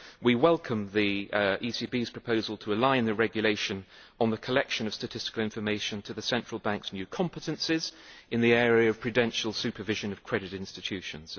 We welcome the ECB's proposal to align the Regulation on the collection of statistical information to the central bank's new competences in the area of prudential supervision of credit institutions.